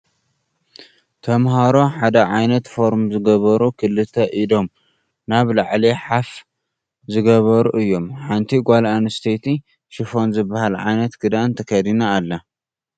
ተማህሮ ሓደ ዓይነት ፎርም ዝገበሩ ክልተ ኢዶም ናብ ላዕሊ ሓፍ ዝገበሩ እዮም። ሓንቲ ጎል ኣንስቲየቲ ሽፈን ዝብሃል ዓይነት ክዳን ተከዲና ኣላ።